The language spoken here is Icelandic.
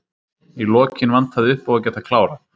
Í lokin vantaði uppá að geta klárað.